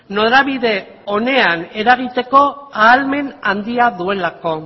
norabide onean eragiteko ahalmen handia duelako